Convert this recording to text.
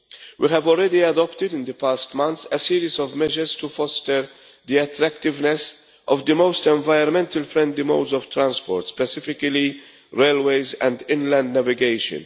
We have already adopted in the past months a series of measures to foster the attractiveness of the most environmentally friendly modes of transport, specifically railways and inland navigation.